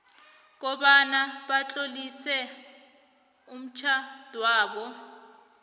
kobana batlolise umtjhadwabo